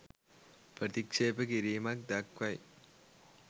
ප්‍රතික්‍ෂේප කිරීමක් දක්වයි